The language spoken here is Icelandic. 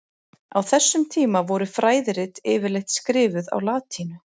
Á þessum tíma voru fræðirit yfirleitt skrifuð á latínu.